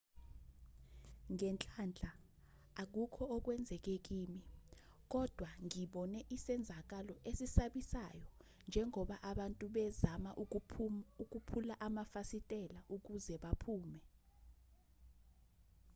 ngenhlanhla akukho okwenzeke kimi kodwa ngibone isenzakalo esisabisayo njengoba abantu bezama ukuphula amafasitela ukuze baphume